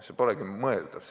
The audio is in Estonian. See polegi mõeldav.